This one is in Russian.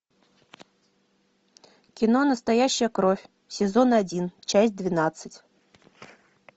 кино настоящая кровь сезон один часть двенадцать